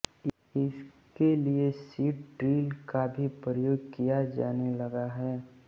इस के लिए सीड ड्रिल का भी प्रयोग किया जाने लगा है